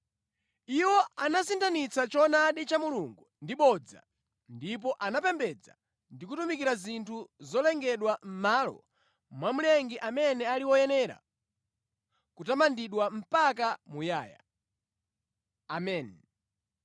Iwo anasinthanitsa choonadi cha Mulungu ndi bodza ndipo anapembedza ndi kutumikira zinthu zolengedwa mʼmalo mwa Mlengi amene ali woyenera kutamandidwa mpaka muyaya. Ameni.